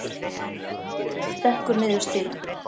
Stekkur niður stigann.